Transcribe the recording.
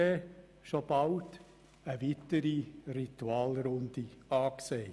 Und schon bald ist eine weitere Ritualrunde angesagt.